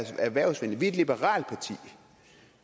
erhvervsvenlige et liberalt parti